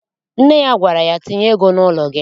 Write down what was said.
Nne ya gwara ya, tinye ego n'ụlọ gị!